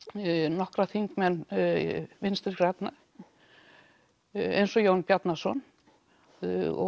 nokkra þingmenn Vinstri grænna eins og Jón Bjarnason og